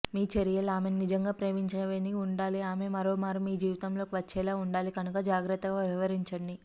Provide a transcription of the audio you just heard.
మీ చర్యలు ఆమెను నిజంగా ప్రేమించేవిగా వుండాలి ఆమె మరోమారు మీ జీవితంలోకి వచ్చేలా వుండాలి కనుక జాగ్రత్తగా వ్యవహరించండి